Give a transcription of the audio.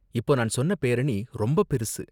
இப்போ நான் சொன்ன பேரணி ரொம்ப பெருசு